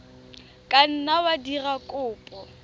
ka nna wa dira kopo